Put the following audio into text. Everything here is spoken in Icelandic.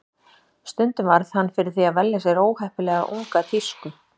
Stundum varð hann fyrir því að velja sér óheppilega unga tísku.